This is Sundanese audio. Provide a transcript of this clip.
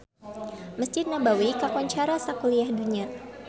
Mesjid Nabawi kakoncara sakuliah dunya